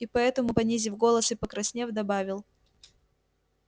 и поэтому понизив голос и покраснев добавил